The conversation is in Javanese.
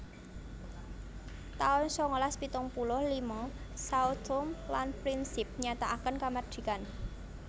taun sangalas pitung puluh lima Sao Tome lan Principe nyatakaken kamardikan